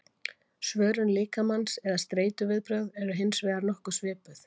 svörun líkamans eða streituviðbrögðin eru hins vegar nokkuð svipuð